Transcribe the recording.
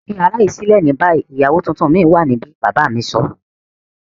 Fi yara yii silẹ ni bayi! Iyawo tuntun mi wa nibi baba mi sọ.